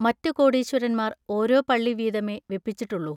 മറ്റു കോടീശ്വരന്മാർ ഓരോ പള്ളി വീതമേ വെപ്പിച്ചിട്ടുള്ളു.